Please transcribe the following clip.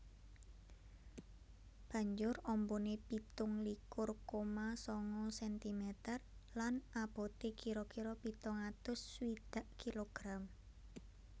Banjur ambané pitung likur koma sanga sentimeter lan aboté kira kira pitung atus swidak kilogram